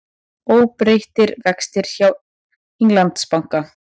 Óbreyttir vextir hjá Englandsbanka